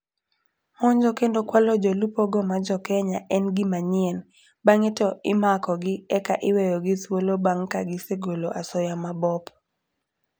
Monjo kendo kwalo jolupo go ma jokenya en gima nyien. Bange to imako gi eka iweyogi thuolo bang ka gisegolo asoya mabop.